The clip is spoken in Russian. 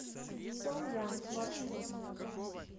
со янг маршрут